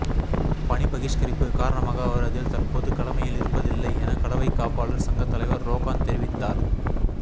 பணி பகிஷ்கரிப்பு காரணமாக அவர் அதில் தற்போது கடமையில் இருப்பதில்லை என கடவைக் காப்பாளர் சங்கத் தலைவர் றொகான் தெரிவித்தார்